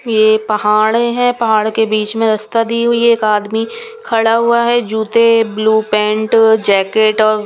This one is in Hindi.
ये पहाड़े हैं पहाड़ के बीच में रास्ता दी हुई है एक आदमी खड़ा हुआ है जूते ब्लू पेंट जैकेट और.